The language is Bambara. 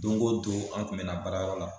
Don go don an kun be na baarayɔrɔ la